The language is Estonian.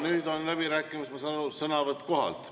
Nüüd on läbirääkimistel, ma saan aru, sõnavõtt kohalt.